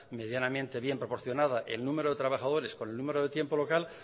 medianamente bien proporcionada el número de trabajadores con el número de tiempo local